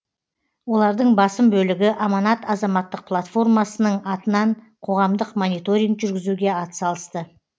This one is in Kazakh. олардың басым бөлігі аманат азаматтық платформасының атынан қоғамдық мониторинг жүргізуге атсалысты